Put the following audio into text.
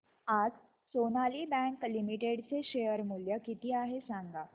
आज Sonali bank limited चे share मूल्य किती आहे सांगा